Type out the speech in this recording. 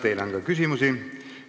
Teile on ka küsimusi.